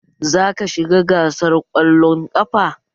Za ka shiga gasar kwallon ƙafa!